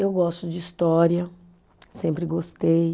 Eu gosto de história, sempre gostei.